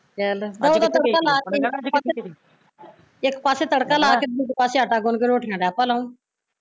ਚੱਲ ਇੱਕ ਪਾਸੇ ਤੜਕਾ ਲਾਕੇ, ਦੂਜੇ ਪਾਸੇ ਆਟਾ ਗੁਨ ਕੇ ਰੋਟੀਆ ਡਹਿ ਪੈ ਲਾਉਣ